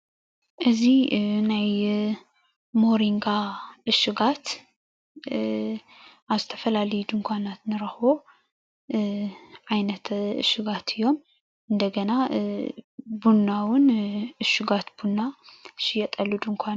እዚ ናይ ሞሪንጋ እሹጋት ኣብ ዝተፈላለዩ ድንኳናት ንረክቦ ዓይነት ዕሹጋት እዮም እንደገና ቡና እዉን ዕሹጋት ቡና ዝሽየጠሉ ድንኳን እዩ።